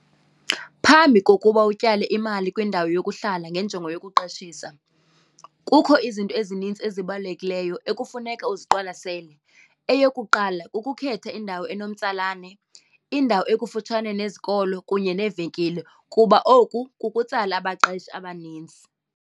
Phambi kokuba utyale imali kwindawo yokuhlala ngenjongo yokuqeshisa kukho izinto ezinintsi ezibalulekileyo ekufuneka uziqwalasele. Eyokuqala ukukhetha indawo enomtsalane, indawo ekufutshane nezikolo kunye neevenkile kuba oku kukutsala abaqeshi abanintsi.